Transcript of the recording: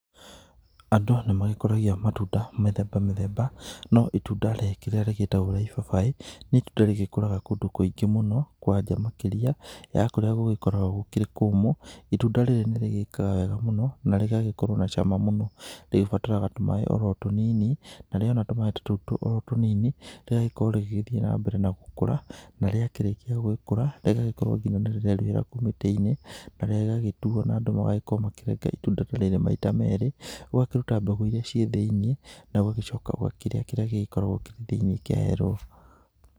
Andũ nĩ magĩkoragĩa matunda mĩthemba mĩthemba no rĩngĩ itunda rĩratagwo rĩa ibabaĩ nĩ itunda rĩgĩkũraga kũndũ kũingĩ mũno kwanja makĩrĩa ya kũrĩa gũgĩkoragwo gũkĩrĩ kũmũ itunda rĩrĩ nĩ rĩgĩkaga wega mũno na rĩgagĩkorwo na cama mũno, rĩgĩbataraga tũmaĩ oro tũnini na rĩona tũmaĩ ta tũtũ oro tũnini rĩgagĩkorwo rĩgĩthiĩ na mbere na gũkũra na rĩa kĩrĩkia gũkũra rĩgakorwo nginya nĩ rĩreruhĩra kũu mĩtĩ-inĩ na rĩgagĩtuo na andũ magakorwo makĩrenga itunda ta rĩrĩ maita ta merĩ ũgakĩrũta mbegũ irĩa ciĩ thĩ-inĩ na ũgagĩcoka ũkarĩa kĩrĩa gĩgĩkoragwo kĩrĩ thiinĩ kĩa yero.